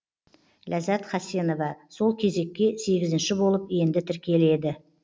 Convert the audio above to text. ләззәт хасенова сол кезекке сегізінші болып енді тіркеледі